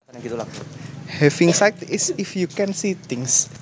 Having sight is if you can see things